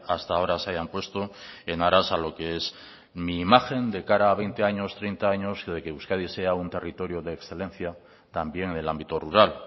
hasta ahora se hayan puesto en aras a lo que es mi imagen de cara a veinte años treinta años y de que euskadi sea un territorio de excelencia también en el ámbito rural